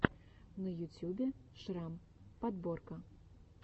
на ютюбе шрам подборка